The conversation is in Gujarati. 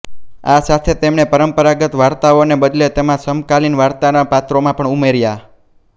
આ સાથે તેમણે પરંપરાગત વાર્તાઓને બદલે તેમાં સમકાલીન વાર્તાના પાત્રોમાં પણ ઉમેર્યા